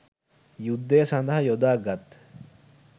යුද්ධය සඳහා යොදා ගත්